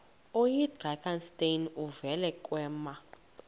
oyidrakenstein uvele kwema